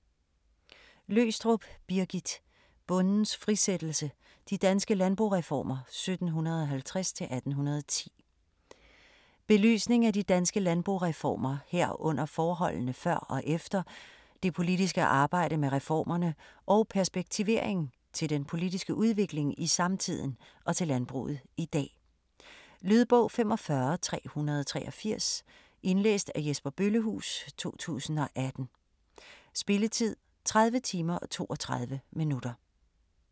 Løgstrup, Birgit: Bondens frisættelse: de danske landboreformer 1750-1810 Belysning af de danske landboreformer, herunder forholdene før og efter, det politiske arbejde med reformerne og perspektivering til den politiske udvikling i samtiden og til landbruget i dag. Lydbog 45383 Indlæst af Jesper Bøllehuus, 2018. Spilletid: 30 timer, 32 minutter.